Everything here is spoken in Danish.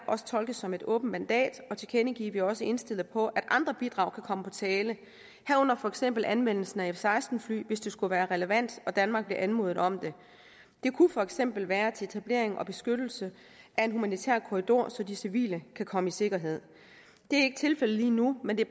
også tolkes som et åbent mandat og tilkendegive at vi også er indstillet på at andre bidrag kan komme på tale herunder for eksempel anvendelsen af f seksten fly hvis det skulle være relevant og danmark blev anmodet om det det kunne for eksempel være til etablering og beskyttelse af en humanitær korridor så de civile kan komme i sikkerhed det er ikke tilfældet lige nu men det